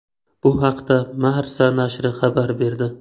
Bu haqda Marca nashri xabar berdi .